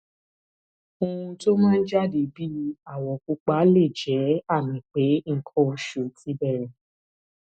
ohun tó máa ń jáde bíi àwọ pupa lè jẹ àmì pé nǹkan oṣù ti bẹrẹ